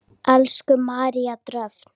Elsku María Dröfn.